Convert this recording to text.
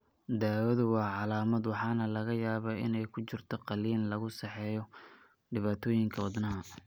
Daawadu waa calaamad waxaana laga yaabaa inay ku jirto qaliin lagu saxayo dhibaatooyinka wadnaha.